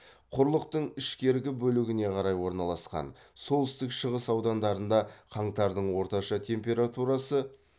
құрлықтың ішкергі бөлігіне қарай орналасқан солтүстік шығыс аудандарда қаңтардың орташа температурасы